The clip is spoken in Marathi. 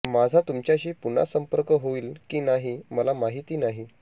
माझा तुमच्याशी पुन्हा संपर्क होईल की नाही मला माहिती नाही